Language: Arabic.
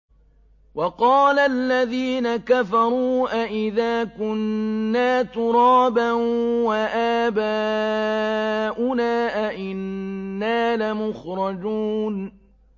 وَقَالَ الَّذِينَ كَفَرُوا أَإِذَا كُنَّا تُرَابًا وَآبَاؤُنَا أَئِنَّا لَمُخْرَجُونَ